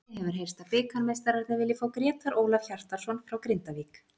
Einnig hefur heyrst að bikarmeistararnir vilji fá Grétar Ólaf Hjartarson frá Grindavík.